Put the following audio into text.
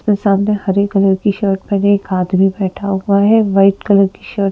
सामने हरी कलर की शर्ट पहने एक आदमी बैठा हुआ है वाइट कलर की शर्ट --